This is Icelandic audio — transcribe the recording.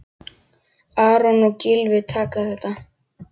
Aron og Gylfi taka þetta.